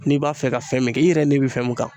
N'i b'a fɛ ka fɛn min kɛ, i yɛrɛ n'i bɛ fɛn min kan.